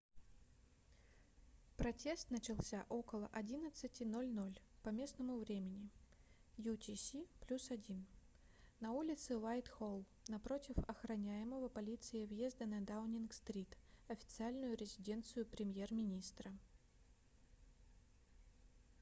протест начался около 11:00 по местному времени utc+1 на улице уайтхолл напротив охраняемого полицией въезда на даунинг-стрит официальную резиденцию премьер-министра